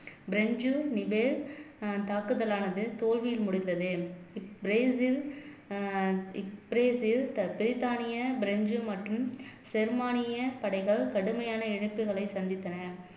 பிரஞ்சு Nivelle ஆஹ் தாக்குதலானது தோல்வியில் முடிந்தது பிரேசில் அஹ் பிரேசில் பிரித்தானிய பிரெஞ்சு மற்றும் ஜெர்மானிய படைகள் கடுமையான இழப்புகளை சந்தித்தன